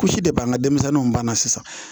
Kusi de b'an ŋa denmisɛnninw banana sisan